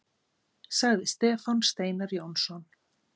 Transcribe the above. Sagði Stefán Steinar Jónsson.